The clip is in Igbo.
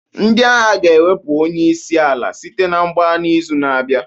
Ndị agha ga-ewepụ onye isi ala site na mgbagha n'izu na-abịa